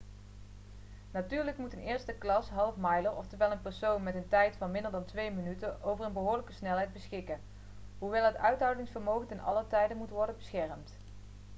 natuurlijk moet een eersteklas half-miler oftewel een persoon met een tijd van minder dan twee minuten over een behoorlijke snelheid beschikken hoewel het uithoudingsvermogen te allen tijde moet worden beschermd